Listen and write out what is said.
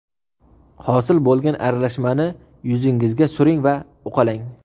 Hosil bo‘lgan aralashmani yuzingizga suring va uqalang.